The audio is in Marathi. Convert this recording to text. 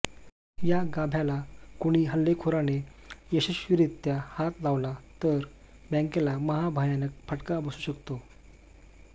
या गाभ्याला कुणी हल्लेखोराने यशस्वीरीत्या हात लावला तर बॅंकेला महाभयानक फटका बसू शकतो